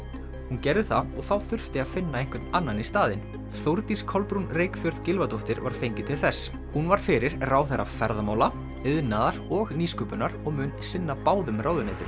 hún gerði það og þá þurfti að finna einhvern annan í staðinn Þórdís Kolbrún Reykfjörð Gylfadóttir var fengin til þess hún var fyrir ráðherra ferðamála iðnaðar og nýsköpunar og mun sinna báðum ráðuneytum